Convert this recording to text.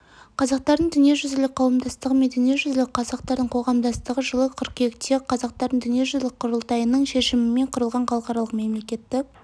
қазақтардың дүниежүзілік қауымдастығы немесе дүниежүзілік қазақтардың қоғамдастығы жылы қыркүйекте қазақтардың дүниежүзілік құрылтайының шешімімен құрылған халықаралық мемлекеттік